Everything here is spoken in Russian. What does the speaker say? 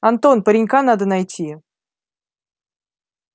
антон паренька надо найти